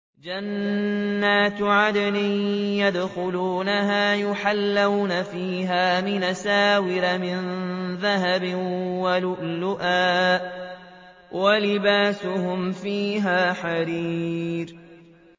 جَنَّاتُ عَدْنٍ يَدْخُلُونَهَا يُحَلَّوْنَ فِيهَا مِنْ أَسَاوِرَ مِن ذَهَبٍ وَلُؤْلُؤًا ۖ وَلِبَاسُهُمْ فِيهَا حَرِيرٌ